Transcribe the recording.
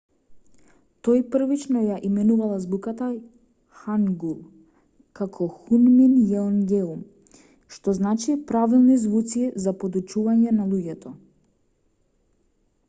тој првично ја именувал азбуката хангул како хунмин јеонгеум што значи правилни звуци за подучување на луѓето